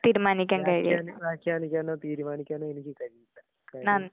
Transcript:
തീരുമാനിക്കാൻ കഴിയില്ലാ നന്ദി.